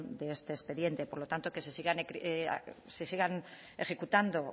de este expediente por lo tanto que se sigan ejecutando